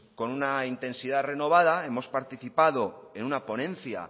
con una intensidad renovada hemos participado en una ponencia